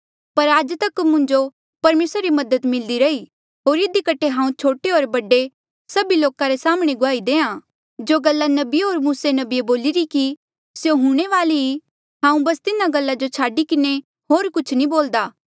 पर आज तक मुंजो परमेसरा री मदद मिल्दी रही होर इधी कठे हांऊँ छोटे होर बडे सभी लोका रे साम्हणें गुआही देआ जो गल्ला नबिये होर मुसे नबिये बोलिरी कि स्यों हूंणे वाली ई हांऊँ बस तिन्हा गल्ला जो छाडी किन्हें होर कुछ नी बोल्दा